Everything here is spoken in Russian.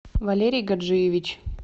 валерий гаджиевич